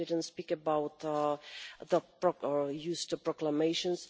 We didn't speak about the use of proclamations.